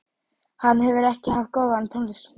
Hann hefur ekki haft góðan tónlistarsmekk